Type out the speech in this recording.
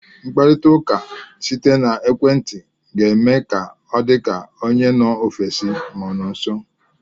Mkparita ụka site n'ekwenti ga eme ka ọ dị ka onye nọ mba ofesi ọ nọ gị nso.